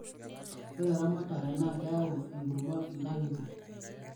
ore eramatae naa keyau enkurma inkangitie